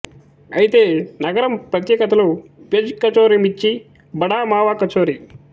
అయితే నగరం ప్రత్యేకతలు ప్యజ్ కచోరి మిర్చి బడా మావా కచోరి